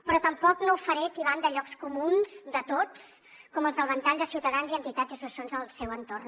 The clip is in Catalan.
però tampoc no ho faré tibant de llocs comuns de tots com els del ventall de ciutadans i entitats i associacions al seu entorn